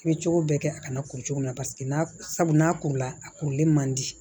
I bɛ cogo bɛɛ kɛ a kana kuru cogo min na paseke n'a sabu n'a kurula a kurulen man di